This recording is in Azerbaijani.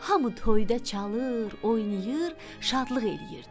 Hamı toyda çalır, oynayır, şadlıq eləyirdi.